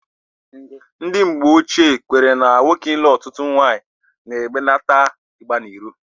Ndị mgbochie kwenyere na nwoke ịlụ ọtụtụ nwaanyị na-ebelata ịgba n'iro.